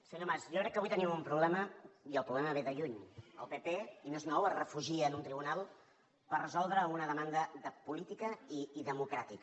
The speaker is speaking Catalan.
senyor mas jo crec que avui tenim un problema i el problema ve de lluny el pp i no és nou es refugia en un tribunal per resoldre una demanda de política i democràtica